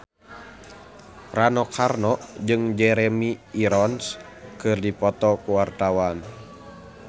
Rano Karno jeung Jeremy Irons keur dipoto ku wartawan